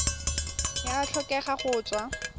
e a tlhokega go tswa